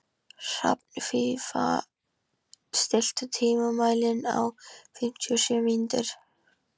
Hrafnfífa, stilltu tímamælinn á fimmtíu og sjö mínútur.